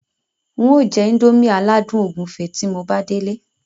n o jẹ́ índómì aládùn ògúnfe tí mo bá délé